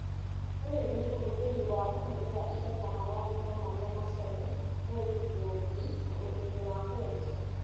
ũyũ nĩ ũhũthĩri wa kũhũthĩra indo ta maragita maria macore mouldboard na ũrĩmi wa kwenja